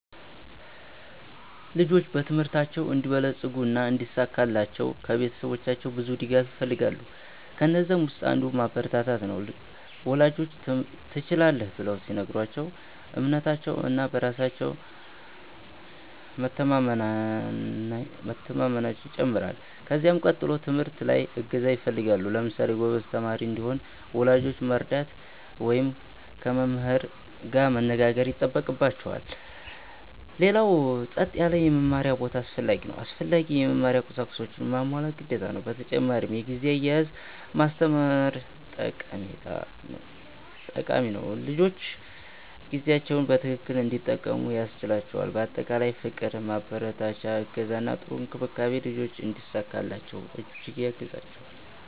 ልጆች በትምህርታቸው እንዲበለጽጉ እና እንዲሳካላቸው ከቤተሰባቸው ብዙ ድጋፍ ይፈልጋሉ። ከነዛም ውስጥ አንዱ ማበረታቻ ነው፤ ወላጆች “ትችላለህ” ብለው ሲነግሯቸው እምነታቸው እና በራስ መቸማመናየው ይጨምራል። ከዚያ ቀጥሎ ትምህርት ላይ እገዛ ይፈልጋሉ። ለምሳሌ ጎበዝ ተማሪ እንዲሆን ወላጆች መርዳት ወይም ከመምህር ጋር መነጋገር ይጠበቅባቸዋል። ሌላው ጸጥ ያለ የመማሪያ ቦታ አስፈላጊ ነው። አስፈላጊ የመማሪያ ቁሳቁሶችንም ማሟላት ግዴታ ነው። በተጨማሪ የጊዜ አያያዝ ማስተማር ጠቃሚ ነው፤ ልጆች ጊዜያቸውን በትክክል እንዲጠቀሙ ያስችላቸዋል። በአጠቃላይ ፍቅር፣ ማበረታቻ፣ እገዛ እና ጥሩ እንክብካቤ ልጆች እንዲሳካላቸው እጅግ ያግዛቸዋል።